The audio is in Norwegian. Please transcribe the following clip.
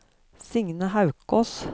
Signe Haukås